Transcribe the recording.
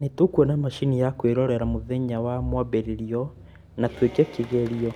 nĩtũkona macini ya kwĩrorera mũthenya wa mwambĩrĩrio na tũĩke kĩgerio